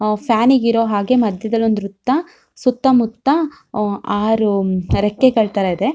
ಅಹ್ fan ನಿ ಇರುವ ಹಾಗೆ ಮದ್ಯದಲ್ಲಿ ವ್ರತ ಸುತ್ತಮುತ್ತ ಅಹ್ ಆರು ರೆಕ್ಕೆಗಳ ತರ ಇದೆ.